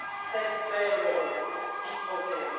Cette belle Europe qui protège...